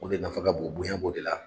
O de nafa ka bon bonya b'o de la